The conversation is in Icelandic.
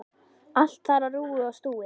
Allt þar á rúi og stúi.